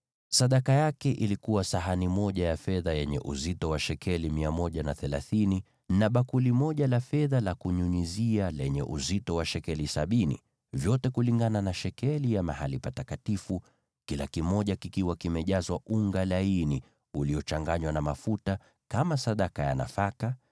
Sadaka aliyoleta ilikuwa sahani moja ya fedha yenye uzito wa shekeli 130, na bakuli moja la fedha la kunyunyizia lenye uzito wa shekeli sabini, vyote kulingana na shekeli ya mahali patakatifu, vikiwa vimejazwa unga laini uliochanganywa na mafuta kama sadaka ya nafaka;